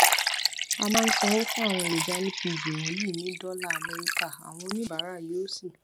a máa ń sanwó fún àwọn èròjà lpg wọnyí ní dọlà amẹríkà àwọn oníbàárà yóò sì